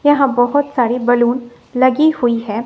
यहां बहुत सारी बैलून लगी हुई है।